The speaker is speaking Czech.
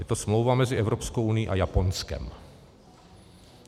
Je to smlouva mezi Evropskou unií a Japonskem.